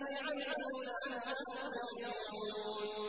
الَّذِي عَمِلُوا لَعَلَّهُمْ يَرْجِعُونَ